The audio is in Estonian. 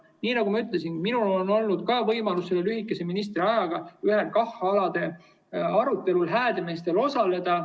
Nii nagu ma ütlesin, minul on olnud võimalus lühikese ministriaja jooksul ühel KAH‑ala arutelul Häädemeestel osaleda.